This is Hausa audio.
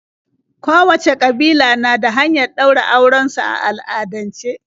Kowacce ƙabila na da hanyar ɗaura auren su a al'adance.